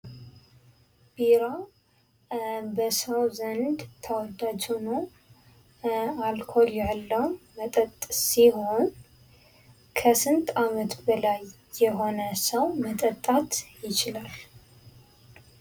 ቢራ በሰው ዘንድ ተወዳጅ ሆኖ አልኮል ያለው መጠጥ ሲሆን፤ ከስንት አመት በላይ የሆነው ሰው መጠጣት ይችላል?